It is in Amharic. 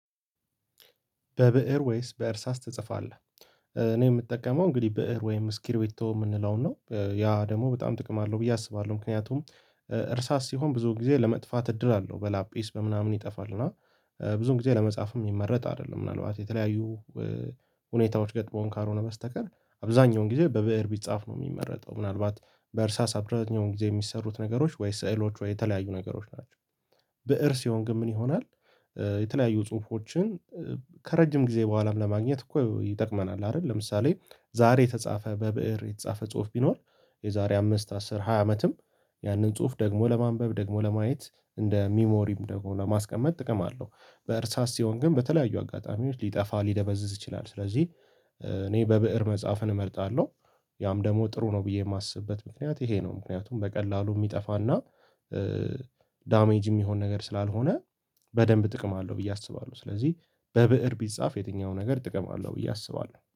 በብእር ወይስ በእርሳስ ትጽፋለህ? እኔ የምጠቀመው እንግዲህ ብእር ወይም እስኪርቤቶ የምንለውን ነው ያ ደሞ በጣም ጥቅም አለው ብዬ አስባለሁ ምክንያቱም። እርሳስ ሲሆን ብዙ ጊዜ ለመጥፋት እድል አለው በላጲስ በምናምን ይጠፋል እና። ብዙም ጊዜ ለመጻፍም የሚመረጥ አይደለም ምናልባት የተለያዩ ሁኔታዎች ገጥሞን ካልሆነ በስተቀር አብዛኛውን ጊዜ በብእር ቢጻፍ ነው የሚመረጠው። ምናልባት በእርሳስ አብረኛውን ጊዜ የሚሰሩት ነገሮች ወይ ስዕሎች ወወይ የተለያዩ ነገሮች ናቸው። ብእር ስሲሆን ግን ምን ይሆናል? የተለያዩ ጽሁፎችን ከረጅም ጊዜ በኋላም ለማግኘት እኮ ይጠቅመናል አይደል? ለምሳሌ ዛሬ የተጻፈ በብእር የተጻፈ ጽሁፍ ቢኖር የዛሬ አምስት አስር ሃያ አመትም ያንን ጽሁፍ ደግሞ ለማንበብ ደግሞ ለማየት እንደ ሚሞሪም ደግሞ ለማስቀመጥ ጥቅም አለው። በእርሳስ ሲሆን ግን በተለያዩ አጋጣሚዎች ሊጠፋ ሊደበዝዝ ይችላል ስለዚህ እኔ በብእር መጽሐፍን እመርጣለሁ። ያም ደግሞ ጥሩ ነው ብዬ የማስብበት ምክንያት ይሄ ነው። ምክንያቱም በቀላሉ የሚጠፋና ዳሜጅ የሚሆን ነገር ስላልሆነ። በደንብ ጥቅም አለው ብዬ አስባለሁ ስለዚህ በብእር ቢጻፍ የትኛው ነገር ጥቅም አለው ብዬ አስባለሁ